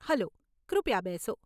Hello, કૃપયા બેસો.